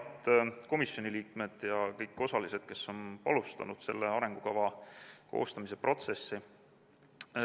Head komisjoni liikmed ja kõik osalised, kes on alustanud selle arengukava koostamise protsessi!